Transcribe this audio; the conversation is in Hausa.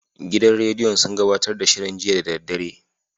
Gidan rediyon sun gabatar da shirin jiya da daddare.